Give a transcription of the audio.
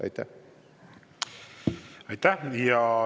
Aitäh!